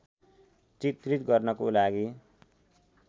चित्रित गर्नको लागि